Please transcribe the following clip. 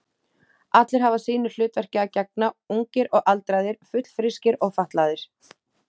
Allir hafa sínu hlutverki að gegna, ungir og aldraðir, fullfrískir og fatlaðir.